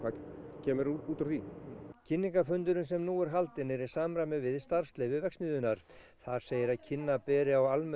kemur út úr því kynningarfundurinn sem nú er haldinn er í samræmi við starfsleyfi verksmiðjunnar þar segir að kynna beri á almennum